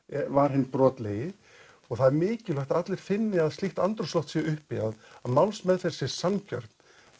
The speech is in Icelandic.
var hinn brotlegi og það er mikilvægt að allir finni að slíkt andrúmsloft sé uppi að málsmeðferð sé sanngjörn